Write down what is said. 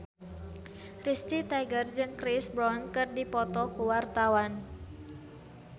Risty Tagor jeung Chris Brown keur dipoto ku wartawan